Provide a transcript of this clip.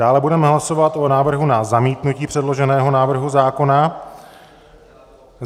Dále budeme hlasovat o návrhu na zamítnutí předloženého návrhu zákona.